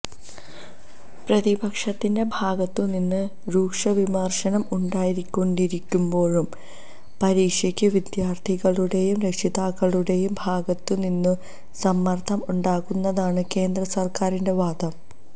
പ്രതിപക്ഷത്തിന്റെ ഭാഗത്തുനിന്ന് രൂക്ഷവിമർശനം ഉണ്ടായിക്കൊണ്ടിരിക്കുമ്പോഴും പരീക്ഷയ്ക്ക് വിദ്യാർഥികളുടെയും രക്ഷിതാക്കളുടെയും ഭാഗത്തുനിന്നു സമ്മർദ്ദം ഉണ്ടാകുന്നെന്നാണ് കേന്ദ്ര സർക്കാരിന്റെ വാദം